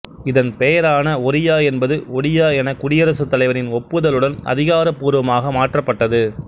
இதன் பெயரான ஒரியா என்பது ஒடியா என குடியரசு தலைவரின் ஒப்புதலுடன் அதிகாரபூர்வமாக மாற்றப்பட்டது